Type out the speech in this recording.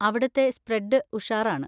അവിടുത്തെ സ്പ്രെഡ് ഉഷാറാണ്.